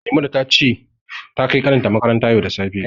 Maimuna ce ta kai kanin ta makaranta yau da safe.